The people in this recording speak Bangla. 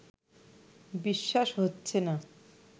বিশ্বাস হচ্ছে না